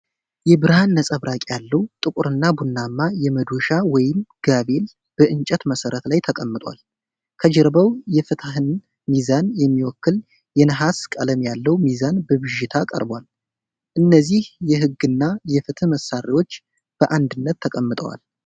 የብርሃን ነፀብራቅ ያለው ጥቁርና ቡናማ የመዶሻ (ጋቬል) በእንጨት መሠረት ላይ ተቀምጧል። ከጀርባው የፍትሕን ሚዛን የሚወክል የነሐስ ቀለም ያለው ሚዛን በብዥታ ቀርቧል። እነዚህ የሕግና የፍትህ መሣሪያዎች በአንድነት ተቀምጠዋል።